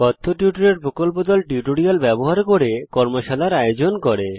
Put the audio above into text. কথ্য টিউটোরিয়াল প্রকল্প দল কথ্য টিউটোরিয়াল ব্যবহার করে কর্মশালার আয়োজন করে